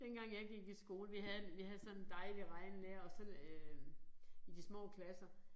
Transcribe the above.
Dengang jeg gik i skole vi havde vi havde sådan en dejlig regnelærer og så øh i de små klasser